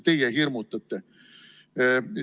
Teie hirmutate.